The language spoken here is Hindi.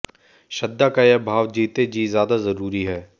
श्रद्धा का यह भाव जीते जी ज्यादा जरूरी है